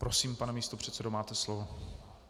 Prosím, pane místopředsedo, máte slovo.